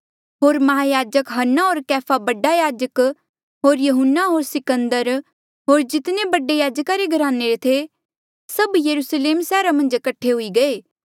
होर माहयाजक हन्ना होर कैफा बडा याजक होर यहून्ना होर सिकंदर होर जितने बडे याजका रे घराने रे थे सभ यरुस्लेम सैहरा मन्झ कठे हुए गये